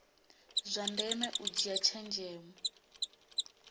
zwa ndeme u dzhia tshenzhemo